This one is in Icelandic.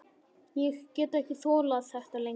Ég get ekki þolað þetta lengur.